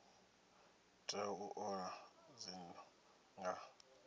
tea u ola dzinnu nga